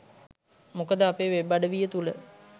මොකද අපේ වෙබ්අඩවිය තුල